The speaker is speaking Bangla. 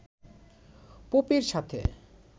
পোপের সাথে